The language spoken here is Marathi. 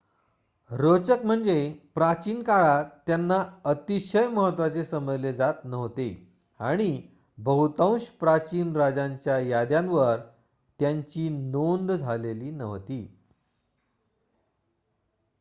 रोचक म्हणजे प्राचीन काळात त्यांना अतिशय महत्वाचे समजले जात नव्हते आणि बहुतांश प्राचीन राजांच्या याद्यांवर त्यांची नोंद झालेली नव्हती